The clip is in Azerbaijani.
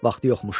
Vaxtı yoxmuş.